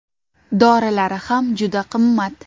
Dorilari ham juda qimmat.